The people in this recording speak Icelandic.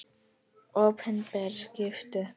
Opinber skipti.